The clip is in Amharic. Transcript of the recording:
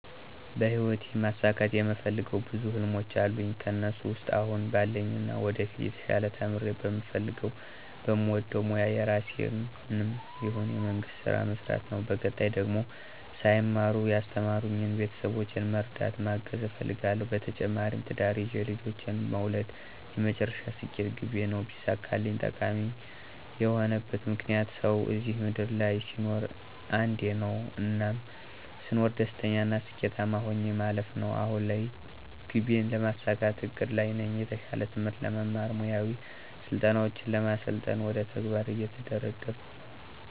በሂወቴ ማሳካት የምፈልገው ብዙ ህልሞች አሉኝ ከእነሱ ውስጥ አሁን ባለኝና ወደፊት የተሻለ ተምሬ በምፈልገው በምወደው ሞያ የራሴንም ይሁን የመንግስት ስራ መስራት ነው በቀጣይ ደግሞ ሳይማሩ ያስተማሩኝን ቤተሰቦቼን መርዳት ማገዝ እፈልጋለሁ። በተጨማሪም ትዳር ይዤ ልጆችን መውለድ የመጨረሻ ስኬት ግቤ ነው ቢሳካልኝ። ጠቃሚ የሆነበት ምክንያት፦ ሰው እዚህ ምድር ላይ ሲኖር አንዴ ነው። እናም ስኖር ደስተኛና ስኬታማ ሆኜ ማለፍ ነው። አሁን ላይ ግቤን ለማሳካት እቅድ ላይ ነኝ። የተሻለ ትምህርት ለመማር፣ ሙያዊ ስልጠናውችን ለመሰልጠን ወደ ተግባር እየተንደረደርኩ ነው።